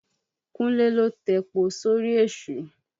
Kúnlé ló tepo sórí èṣù.